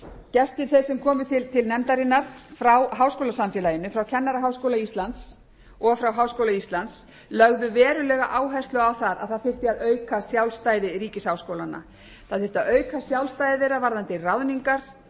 gestir þeir sem komu til nefndarinnar frá háskólasamfélaginu frá kennaraháskóla íslands og frá háskóla íslands lögðu verulega áherslu á að það þyrfti að auka sjálfstæði ríkisháskólanna það þyrfti að auka sjálfstæði þeirra varðandi ráðningar